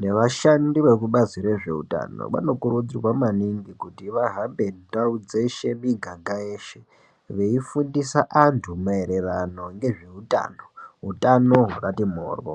nevashandi vekubazi rezveutano vanokurudzirwa maningi kuti vahambe ndau dzeshe miganga yeshe veifundisa vantu maererano nezveutano utano hwakati mhoryo.